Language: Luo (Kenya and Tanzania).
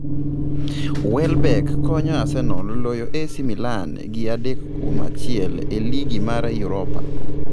Welbeck konyo Arsenal loyo AC Milan gi adek kuom achiel e ligi mar Europa